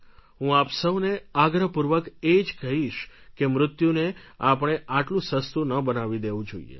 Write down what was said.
હું આપ સૌને આગ્રહપૂર્વક એ જ કહીશ કે મૃત્યુને આપણે આટલું સસ્તું ન બનાવી દેવું જોઈએ